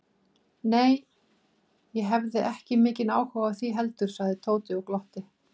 Nei, ég hefði ekki mikinn áhuga á því heldur sagði Tóti og glotti.